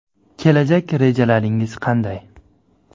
Kelajak rejalaringiz qanday?